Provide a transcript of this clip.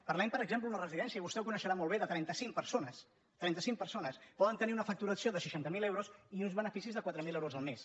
parlem per exem·ple d’una residència i vostè ho coneixerà molt bé de trenta·cinc persones trenta·cinc persones poden te·nir una facturació de seixanta miler euros i uns beneficis de quatre mil euros al mes